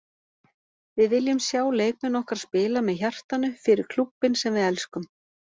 Við viljum sjá leikmenn okkar spila með hjartanu- fyrir klúbbinn sem við elskum.